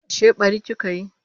Ashe ɓari kika yi?